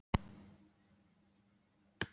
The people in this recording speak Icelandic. Hann segir yður að koma klukkan eitt.